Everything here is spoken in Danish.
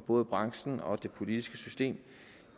både branchen og det politiske system